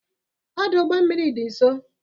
Ọdụ ụgbọ mmiri dị nso?